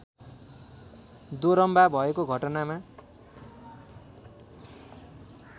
दोरम्बा भएको घटनामा